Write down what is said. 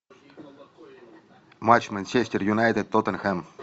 матч манчестер юнайтед тоттенхэм